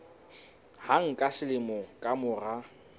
hang ka selemo ka mora